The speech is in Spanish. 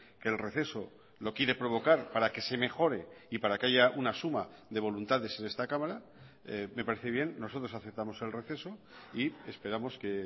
que el receso lo quiere provocar para que se mejore y para que haya una suma de voluntades en esta cámara me parece bien nosotros aceptamos el receso y esperamos que